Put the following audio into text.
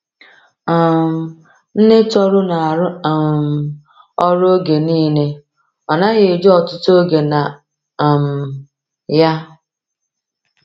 um Nne Tohru na-arụ um ọrụ oge niile, ọ naghị eji ọtụtụ oge na um ya.